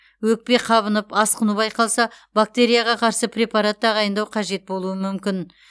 өкпе қабынып асқыну байқалса бактерияға қарсы препарат тағайындау қажет болуы мүмкін